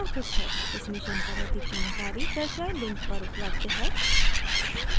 इस mission पर अधिक जानकारी दर्शाये link पर उपलब्ध है